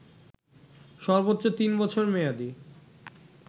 সর্বোচ্চ তিন বছর মেয়াদি